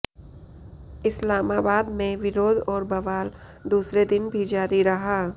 इस्लामाबाद में विरोध और बवाल दूसरे दिन भी जारी रहा